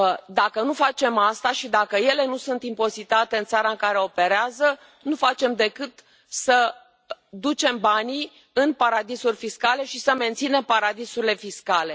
Dacă nu facem asta și dacă ele nu sunt impozitate în țara în care operează, nu facem decât să ducem banii în paradisuri fiscale și să menținem paradisurile fiscale.